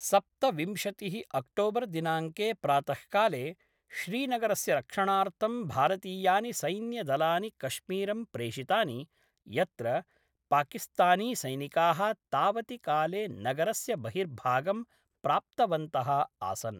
सप्तविंशतिः अक्टोबर् दिनाङ्के प्रातःकाले, श्रीनगरस्य रक्षणार्थं भारतीयानि सैन्यदलानि कश्मीरं प्रेषितानि, यत्र पाकिस्तानीसैनिकाः तावति काले नगरस्य बहिर्भागं प्राप्तवन्तः आसन्।